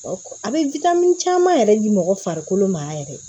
A bɛ caman yɛrɛ di mɔgɔ farikolo ma yɛrɛ